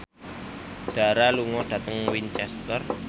Dara lunga dhateng Winchester